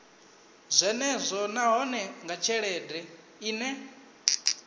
zwenezwo nahone nga tshelede ine